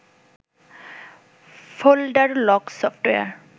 folder lock software